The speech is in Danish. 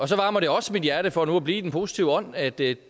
så varmer det også mit hjerte for nu at blive i den positive ånd at det